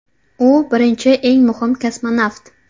U birinchi eng muhim kosmonavt.